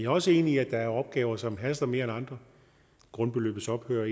også enig i at der er opgaver som haster mere end andre grundbeløbets ophør og